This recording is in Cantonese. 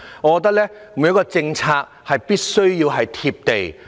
我覺得每項政策必須"貼地"。